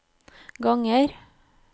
ganger